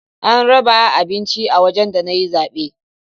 An raba abinci a wajen da na yi zabe